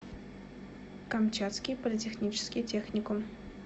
камчатский политехнический техникум